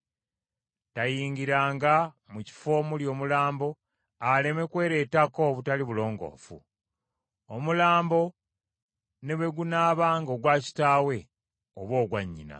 Tayingiranga mu kifo omuli omulambo, aleme kwereetako obutali bulongoofu. Omulambo ne bwe gunaabanga ogwa kitaawe oba ogwa nnyina.